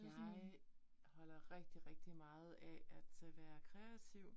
Jeg holder rigtig rigtig meget af at øh være kreativ